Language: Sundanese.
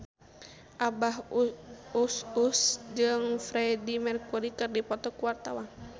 Abah Us Us jeung Freedie Mercury keur dipoto ku wartawan